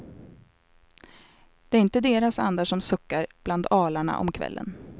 Det är inte deras andar som suckar bland alarna om kvällen.